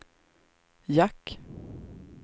jack